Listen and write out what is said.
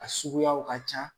A suguyaw ka ca